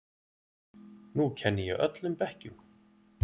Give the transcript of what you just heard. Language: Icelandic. Nú kenni ég öllum bekkjum.